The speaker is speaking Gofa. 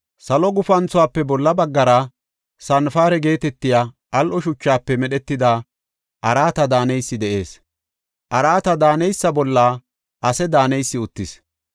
Salo gufanthuwafe bolla baggara sanpare geetetiya al7o shuchafe medhetida araata daaneysi de7ees; araata daaneysa bolla ase daaneysi uttis.